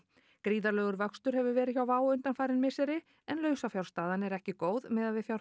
gríðarlegur vöxtur hefur verið hjá Wow undanfarin misseri en lausafjárstaðan ekki góð miðað við